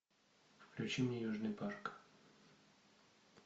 включи мне южный парк